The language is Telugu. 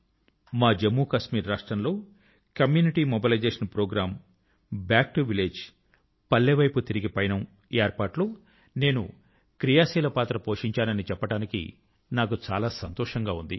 మా జమ్ముకశ్మీర్ రాష్ట్రం లో community mobilisation programme back to village పల్లె వైపు పయనం ఏర్పాటు లో నేను క్రియాశీలమైన పాత్ర పోషించానని చెప్పడానికి నాకు చాలా సంతోషం గా ఉంది